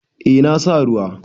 Eh na sa ruwa.